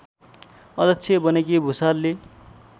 अध्यक्ष बनेकी भुसालले